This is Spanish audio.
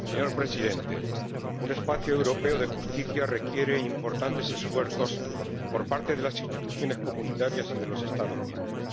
Señor Presidente, un espacio europeo de justicia requiere importantes esfuerzos por parte de las instituciones de la Unión y de los Estados miembros.